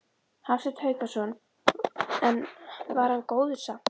Hafsteinn Hauksson: En var hann góður samt?